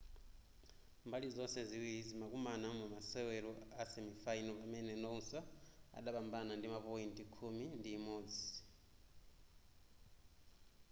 mbali zonse ziwiri zimakumana mu mumasewero a semifinal pamene noosa adapambana ndi ma point khumi ndi imodzi